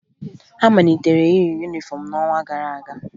Ha malitere iyi yunifọmụ n'ọnwa gara aga